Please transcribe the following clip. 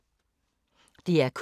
DR K